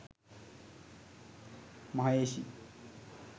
maheshi